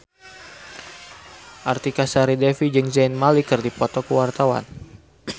Artika Sari Devi jeung Zayn Malik keur dipoto ku wartawan